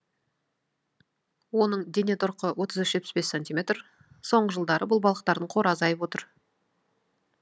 оның дене тұрқы отыз үш жетпіс бес сантиметр соңғы жылдары бұл балықтардың қоры азайып отыр